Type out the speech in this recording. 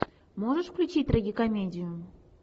можешь включить трагикомедию